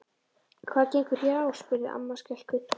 Hvað gengur hér á? spurði amma skelkuð.